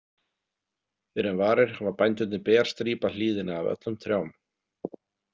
Fyrr en varir hafa bændurnir berstrípað hlíðina af öllum trjám.